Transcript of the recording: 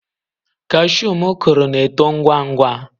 Cashew m kụrụ na-eto ngwa ngwa.